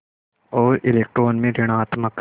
और इलेक्ट्रॉन में ॠणात्मक